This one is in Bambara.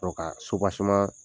Dɔ ka